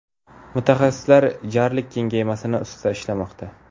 Mutaxassislar jarlik kengaymasligi ustida ishlamoqda.